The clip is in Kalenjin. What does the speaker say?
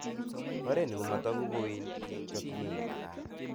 Oret ni komatagu kowendi eng chochinet nemagat